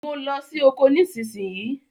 Mo ló sì okò nísìsiyìí!